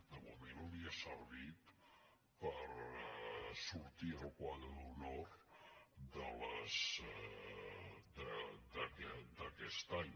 de moment li ha servit per sortir al quadre d’honor d’aquest any